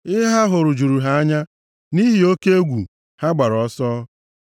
ihe ha hụrụ juru ha anya; nʼihi oke egwu, ha gbara ọsọ.